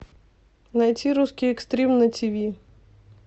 найти русский экстрим на тиви